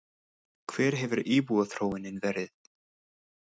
Hver hefur íbúaþróunin verið?